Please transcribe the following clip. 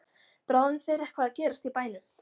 Bráðum fer eitthvað að gerast í bænum.